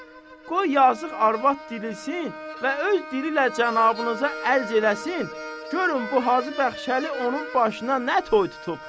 Qoy yazıq arvad dirilsin və öz dili ilə cənabınıza ərz eləsin, görün bu Hacı Bəxşəli onun başına nə toy tutub.